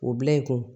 O bila i kun